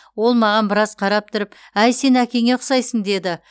ол маған біраз қарап тұрып әй сен әкеңе ұқсайсың деді